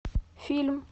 фильм